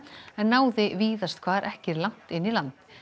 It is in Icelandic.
en náði víðast hvar ekki langt inn í land